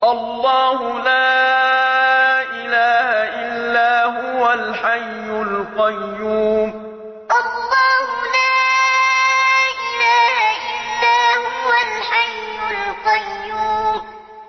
اللَّهُ لَا إِلَٰهَ إِلَّا هُوَ الْحَيُّ الْقَيُّومُ اللَّهُ لَا إِلَٰهَ إِلَّا هُوَ الْحَيُّ الْقَيُّومُ